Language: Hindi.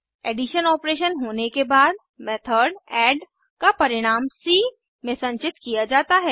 एडिशन ऑपरेशन होने के बाद मेथड एड का परिणाम सी में संचित किया जाता है